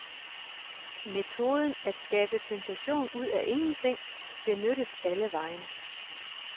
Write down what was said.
Metoden, at skabe sensation ud af ingenting, benyttes alle vegne.